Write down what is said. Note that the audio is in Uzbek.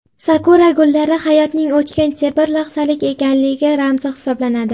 Sakura gullari hayotning o‘tkinchi, bir lahzalik ekanligi ramzi hisoblanadi.